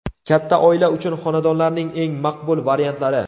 Katta oila uchun xonadonlarning eng maqbul variantlari.